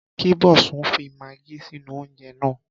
Kí Bosun fi magí sínú oúnjẹ náà.